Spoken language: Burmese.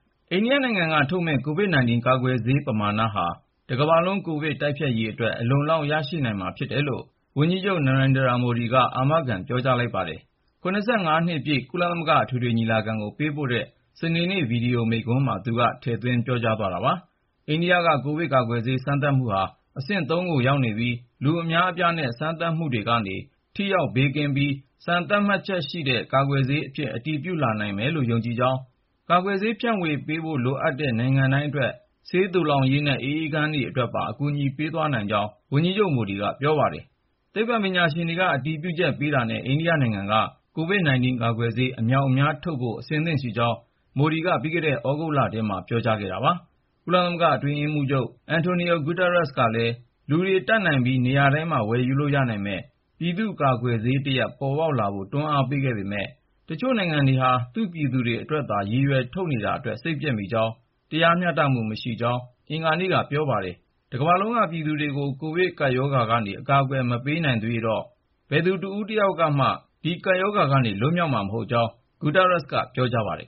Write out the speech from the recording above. အိန္ဒိယနိုင်ငံက ထုတ်မယ့် COVID-19 ကာကွယ်ဆေး ပမာဏဟာ တကမ္ဘာလုံး ကိုဗစ်တိုက်ဖျက်ရေးအတွက် အလုံအလောက် ရရှိနိုင်မှာဖြစ်တယ်လို့ ဝန်ကြီးချုပ် Narendra Modi က အာမခံ ပြောကြားလိုက်ပါတယ်။ ၇၅ နှစ်ပြည့် ကုလသမဂ္ဂ အထွေထွေညီလာခံကို ပေးပို့တဲ့ စနေနေ့ ဗွီဒီယိုမိန့်ခွန်းမှာ သူက ထည့်သွင်း ပြောကြားသွားတာပါ။ အိန္ဒိယက ကိုဗစ်ကာကွယ်ဆေး စမ်းသပ်မှုဟာ အဆင့် ၃ ကို ရောက်နေပြီး လူအများအပြားနဲ့ စမ်းသပ်မှုတွေကနေ ထိရောက်ဘေးကင်းပြီး စံသတ်မှတ်ချက်ရှိတဲ့ ကာကွယ်ဆေးအဖြစ် အတည်ပြုလာနိုင်မယ်လို့ ယုံကြည်ကြောင်း၊ ကာကွယ်ဆေး ဖြန့်ဝေပေးဖို့ လိုအပ်တဲ့နိုင်ငံတိုင်းအတွက် ဆေးသိုလှောင်ရေးနဲ့ အအေးခန်းအတွက်ပါ အကူအညီ ပေးသွားနိုင်ကြောင်း ဝန်ကြီးချုပ် Modi က ပြောပါတယ်။ သိပ္ပံပညာရှင်တွေက အတည်ပြုချက်ပေးတာနဲ့ အိန္ဒိယနိုင်ငံက COVID-19 ကာကွယ်ဆေးတွေ အမြောက်အမြားထုတ်ဖို့ အဆင်သင့်ရှိကြောင်း Modi က ပြီးခဲ့တဲ့ သြဂုတ်လထဲမှာ ပြောကြားခဲ့ပါတယ်။ ကုလသမဂ္ဂ အတွင်းရေးမှူးချုပ် Antonio Guterres ကလည်း လူတွေ တတ်နိုင်ပြီး နေရာတိုင်းမှာ ဝယ်လို့ရနိုင်မယ့် ပြည်သူ့ကာကွယ်ဆေးတရပ် ပေါ်လာဖို့ကို တွန်းအားပေးခဲ့ပေမယ့် တချို့နိုင်ငံတွေဟာ သူ့ပြည်သူတွေအတွက်သာ ရည်ရွယ် ထုတ်နေတာအတွက် စိတ်ပျက်မိကြောင်း၊ တရားမျှတမှု မရှိကြောင်း အင်္ဂါနေ့က ပြောပါတယ်။ တကမ္ဘာလုံးက ပြည်သူတွေကို ကိုဗစ်ကပ်ရောဂါကနေ အကာအကွယ် မပေးနိုင်သရွေ့တော့ ဘယ်သူ တဦးတယောက်မှ ဒီကပ်ရောဂါကနေ လွတ်မြောက်မှာ မဟုတ်ကြောင်း Guterres က ပြောပါတယ်